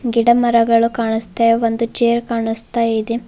ಗಿಡಮರಗಳು ಕಾಣಿಸ್ತವೆ ಒಂದು ಚೇರ್ ಕಾಣಿಸ್ತಾ ಇದೆ.